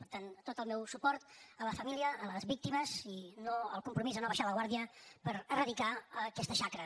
per tant tot el meu suport a la família a les víctimes i el compromís a no abaixar la guàrdia per erradicar aquesta xacra